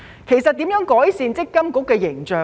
如何可以改善強積金的形象呢？